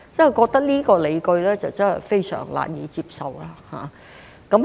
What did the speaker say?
我覺得這個理據真是非常難以接受。